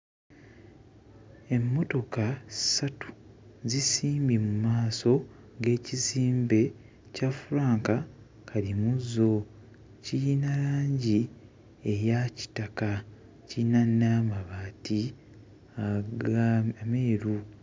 Emmotoka ssatu zisimbye mmaaso g'ekizimbe kya Frank Kalimuzo kiyina langi eya kitaka kiyina n'amabaati aga ameeru.